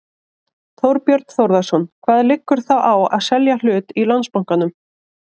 Þorbjörn Þórðarson: Hvað liggur þá á að selja hlut í Landsbankanum?